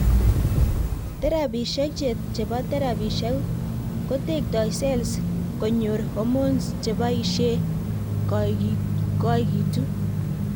Therapishiek chepo therapishiek kotektai cells konyor hormones che baishee koigituu